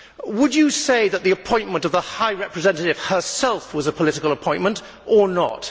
Would you say that the appointment of the High Representative herself was a political appointment, or not?